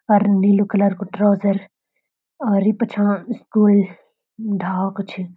पर नीलू कलर कु ट्रोसर और यु पिछ्याँ स्कूल ढाकू छ।